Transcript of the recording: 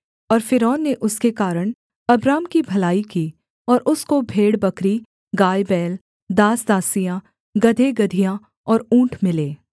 और फ़िरौन ने उसके कारण अब्राम की भलाई की और उसको भेड़बकरी गायबैल दासदासियाँ गदहेगदहियाँ और ऊँट मिले